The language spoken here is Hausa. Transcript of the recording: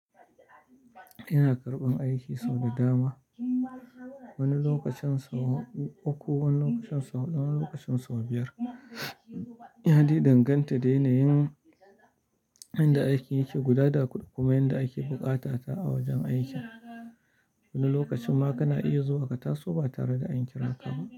Ina karɓan aiki sau da dama. Wani lokacin sau uku, wani lokacin sau huɗu, wani lokacin sau biyar. Yade danganta da yanayin inda aikin yake gudana kuma inda ake buƙata ta a wajen aikin. Wani lokacin ma kana iya zuwa kata so ba tare da an kira ka ba.